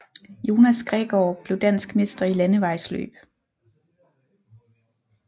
Jonas Gregaard blev dansk mester i landevejsløb